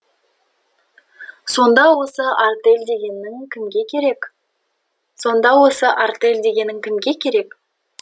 сонда осы артель дегенің кімге керек сонда осы артель дегенің кімге керек